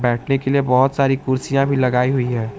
बैठने के लिए बहोत सारी कुर्सियां भी लगाई हुई है।